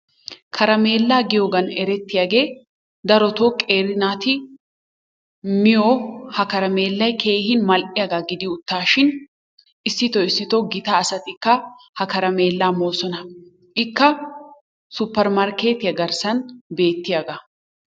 Karameellaa giyoogan erettiyagee darotoo qeeri naati miyoo ha karameellay keehi mal"iyaaga gidi uttaashin issitoo issitoo gita asatikka ha karamellaa moosona. Ikka supermarkketiyaa garssaan bettiyaaga.